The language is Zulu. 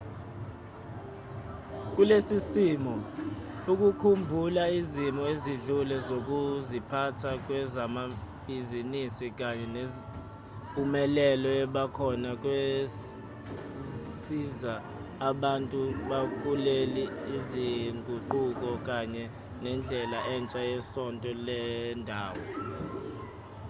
kulesi simo ukukhumbula izimo ezidlule zokuziphatha kwezamabhizinisi kanye nempumelelo ebakhona kwasiza abantu bamukele izinguquko kanye nendlela entsha yesonto lendawo